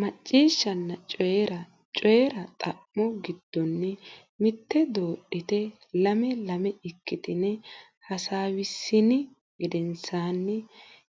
Macciishshanna Coyi ra Coyi ra xa mo giddonni mitte doodhitine lame lame ikkitine heewisiissini gedensaanni